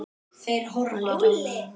Hann leit á Jón Arason.